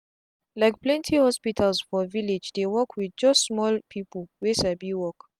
likeplenty hospitals for village dey work with just small people wey sabi work